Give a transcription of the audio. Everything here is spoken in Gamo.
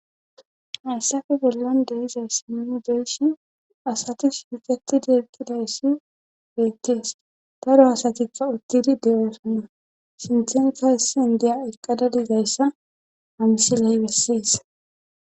hayssafe bellan de7zayssa nuni be7ishe asati shiqetidi eqqidayssi beettees daro asatikka uttidi de7oosonna sinththenkka hessan indiya eqqada dizayssa ha msiley bessees